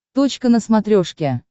точка на смотрешке